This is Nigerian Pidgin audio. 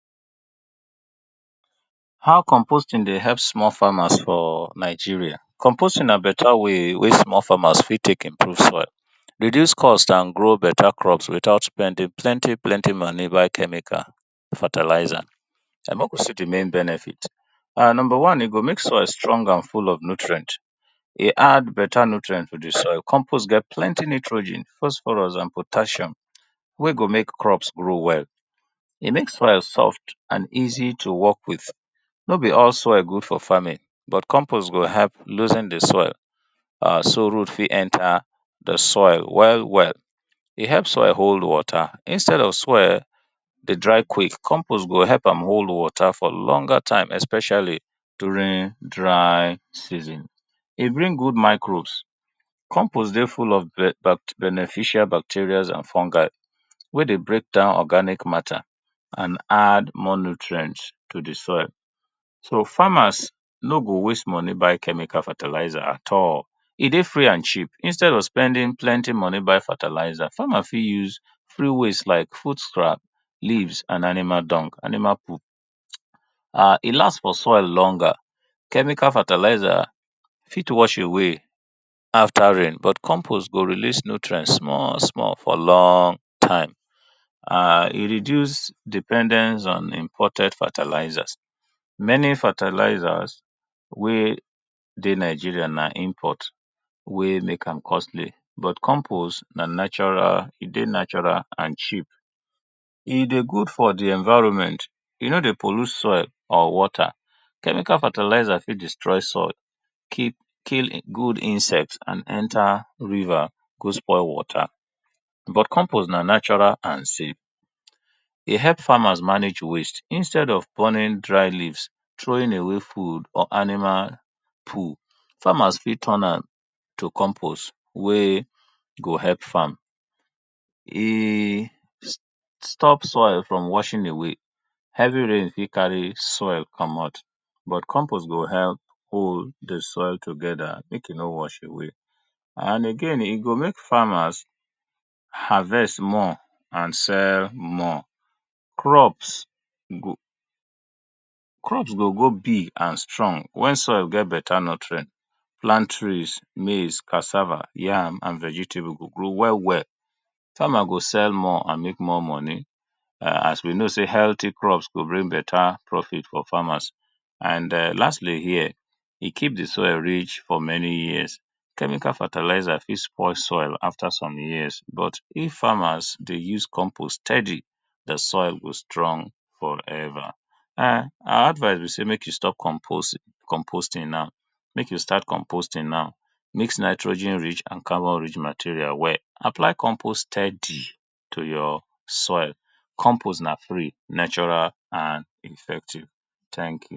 How composting dey help small farmers for Nigeria, composting na better way wey small farmers fit take improve fro, reduce cost and grow crop without spending plenty plenty money buy chemical and fertilizer. Make we see di main benefit, number one e go make soil strong and full with nutrient, e add better nutrient to di soil compost get better nitrogen, phosphorus, and potassium wey go make crops grow well, e make soil soft and easy to work with no be all soil good for farming so compost go help loosen di soil so root go enter well well, e help oil hold water instead of soil to dry quick, compost go help am hold water for longer time especially during dry season, e bring good microbes, compost get beneficial fungi wey dey break down organic matter and add more nutrient to di soil so farmers nor go waste money buy chemical and fertilizer e dey free and cheap, instead of spending money take buy fertilizer farmer fit use waste like food scrab, leaves and animal dung, animal poop e last for soil longer, chemical fertilizer fit wash away after rain but compost go release nutrient for soil small small, e reduce dependence on imported fertilizer, many fertilizers wey dey Nigeria na import wey make am costly but compost na natural, e dey natural and cheap, e dey good for di environment e no dey pollute soil or water, chemical fertilizer fit destroy soil, kill good insect and enter river go spoil water but compost na natural and safe, e help farmers manage waste instead of throwing away dry leaves, pouring food or animal poop, famers fit turn am to compost wey go help farm. E stop soil from washing away, heavy rain fit carry soil komot but compost go help hold di soil together make e no wash away and again e go make farmers harvest more and sell more, crops go crops go grow big and strong wen soil get better nutrient, palm trees, maize, cassava, yam and vegetable go grow well well, farmer go sell more and make more money as we know sey healthy crops go bring more money for farmers and lastly here e keep di soil rich for many years, chemical fertilizer fit spoil soil after many years, but if farmers dey use compost steady, di soil go strong forever and my advise be sey make you stop compost compost ing now, make you start compost ing now mix nitrogen rich and carbon rich material well, apply compost steady to your soil, compost na free natural and effective thank you.